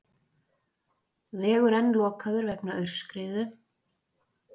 Vegur enn lokaður vegna aurskriðu